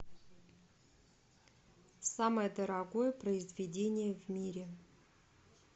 самое дорогое произведение в мире